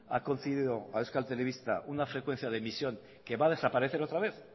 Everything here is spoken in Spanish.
ha concedido a euskal telebista una frecuencia de emisión que va a desaparecer otra vez